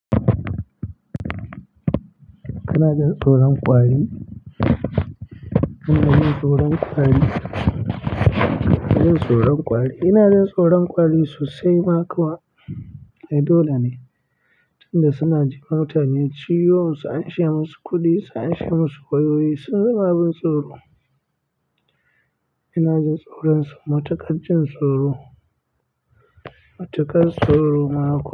Kana jin tsoron kwari. Kana jin tsoron kwari. Kana jin tsoron kwara ina jin tsoron kwari sosai ma kuwa. Eh, dole ne. Tun da suna ji wa mutane ciwo, su anshe musu musu kuɗi, an sha musu wayoyi sun zama abin tsoro. Ina jin tsoron su, matuƙar jin tsoro. Matuƙar tsoro ma kuwa.